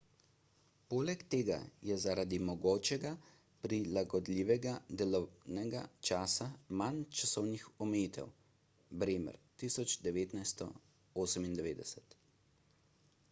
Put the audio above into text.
poleg tega je zaradi mogočega prilagodljivega delovnega časa manj časovnih omejitev. bremer 1998